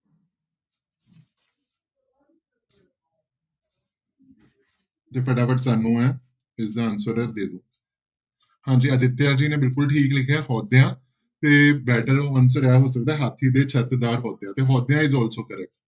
ਤੇ ਫਟਾਫਟ ਸਾਨੂੰ ਇਹ ਇਸਦਾ answer ਦੇ ਦਓ ਹਾਂਜੀ ਅਦਿਤਿਆ ਜੀ ਨੇ ਬਿਲਕੁਲ ਠੀਕ ਲਿਖਿਆ ਹੋਦਿਆਂ ਤੇ better answer ਇਹ ਹੋ ਸਕਦਾ ਹਾਥੀ ਦੇ ਛੱਤ ਦਾ ਤੇ ਹੋਦਿਆਂ is also correct